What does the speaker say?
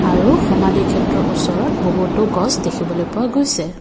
আৰু সমাধি ক্ষেত্ৰৰ ওচৰত বহুতো গছ দেখিবলৈ পোৱা গৈছে।